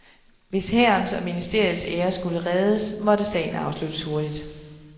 Hvis hærens og ministeriets ære skulle reddes, måtte sagen afsluttes hurtigt.